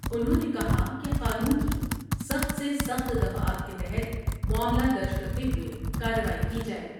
انھوں نے کہا کہ قانون کی سخت سے سخت دفعات کے تحت معاملہ درج کرتے ہوۓ کارروائی کی جاۓ ۔